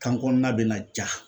Kan kɔnɔna bɛ na ja